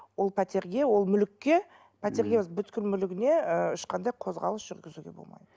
ол пәтерге ол мүлікке пәтерге емес мүлігіне ыыы ешқандай қозғалыс жүргізуге болмайды